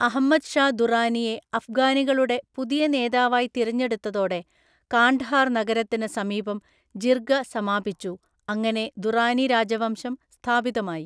Ahmad Shah ദുറാനിയെ അഫ്ഗാനികളുടെ പുതിയ നേതാവായി തിരഞ്ഞെടുത്തതോടെ കാണ്ഡഹാർ നഗരത്തിന് സമീപം ജിർഗ സമാപിച്ചു, അങ്ങനെ ദുറാനി രാജവംശം സ്ഥാപിതമായി.